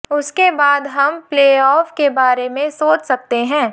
उसके बाद हम प्लेऑफ के बारे में सोच सकते हैं